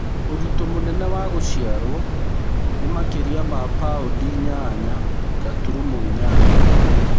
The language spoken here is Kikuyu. Ũritũ mũnene wa gũciarwo nĩ makĩria ma paũndi inyanya gaturumo inyanya.